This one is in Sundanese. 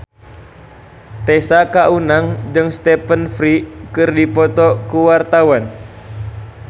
Tessa Kaunang jeung Stephen Fry keur dipoto ku wartawan